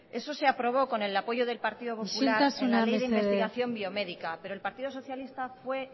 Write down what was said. eso se aprobó con el apoyo del partido popular isiltasuna mesedez en la ley de investigación biomédica pero el partido socialista fue